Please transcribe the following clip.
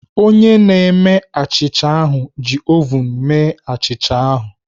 Onye na-eme achịcha ahụ ji ovun mee achịcha ahụ.